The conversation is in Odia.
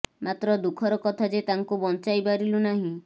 ମାତ୍ର ଦୁଃଖର କଥା ଯେ ତାଙ୍କୁ ବଂଚାଇ ପାରିଲୁ ନାହିଁ